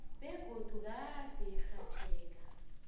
begodu gade urhatjheka